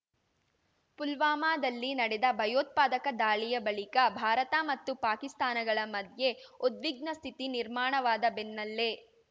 ಪುಲ್ವಾಮಾದಲ್ಲಿ ನಡೆದ ಭಯೋತ್ಪಾದಕ ದಾಳಿಯ ಬಳಿಕ ಭಾರತ ಮತ್ತು ಪಾಕಿಸ್ತಾನಗಳ ಮಧ್ಯೆ ಉದ್ವಿಗ್ನ ಸ್ಥಿತಿ ನಿರ್ಮಾಣವಾದ ಬೆನ್ನಲ್ಲೇ